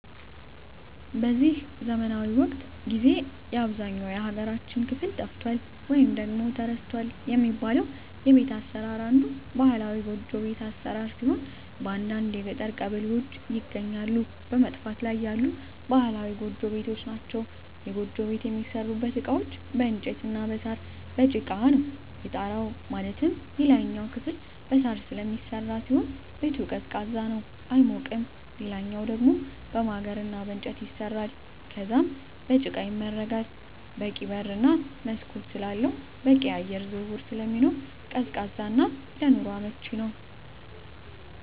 በዚህ ዘመናዊ ወቅት ጊዜ በአብዛኛው የሀገራችን ክፍል ጠፍቷል ወይም ተረስቷል የሚባለው የቤት አሰራር አንዱ ባህላዊ ጎጆ ቤት አሰራር ሲሆን በአንዳንድ የገጠር ቀበሌዎች ይገኛሉ በመጥፋት ላይ ያሉ ባህላዊ ጎጆ ቤቶች ናቸዉ። የጎጆ ቤት የሚሠሩበት እቃዎች በእንጨት እና በሳር፣ በጭቃ ነው። የጣራው ማለትም የላይኛው ክፍል በሳር ስለሚሰራ ሲሆን ቤቱ ቀዝቃዛ ነው አይሞቅም ሌላኛው ደሞ በማገር እና በእንጨት ይሰራል ከዛም በጭቃ ይመረጋል በቂ በር እና መስኮት ስላለው በቂ የአየር ዝውውር ስለሚኖር ቀዝቃዛ እና ለኑሮ አመቺ ነው።